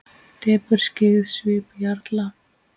Depurð skyggði svip jarla.